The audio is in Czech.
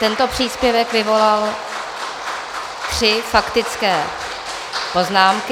Tento příspěvek vyvolal tři faktické poznámky.